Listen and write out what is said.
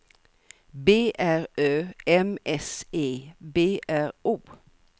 B R Ö M S E B R O